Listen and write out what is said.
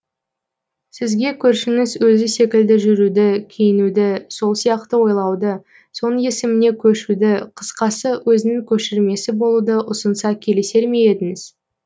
сізге көршіңіз өзі секілді жүруді киінуді сол сияқты ойлауды соның есіміне көшуді қысқасы өзінің көшірмесі болуды ұсынса келісер ме едіңіз